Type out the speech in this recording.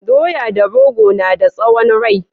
Doya da rogo na da tsawon rai